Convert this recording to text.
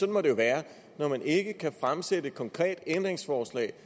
må det jo være når man ikke kan fremsætte et konkret ændringsforslag